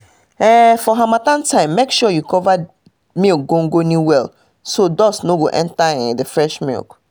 for harmattan um time make sure you cover milk gongoni well so dust no go enter um the fresh milk um